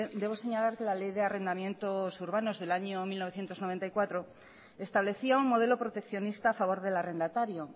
debo señalar que la ley de arrendamientos urbanos del año mil novecientos noventa y cuatro estableció un modelo proteccionista a favor del arrendatario